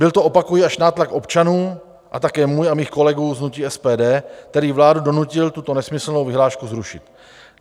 Byl to, opakuji, až nátlak občanů a také můj a mých kolegů z hnutí SPD, který vládu donutil tuto nesmyslnou vyhlášku zrušit.